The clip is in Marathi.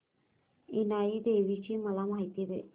इनाई देवीची मला माहिती दे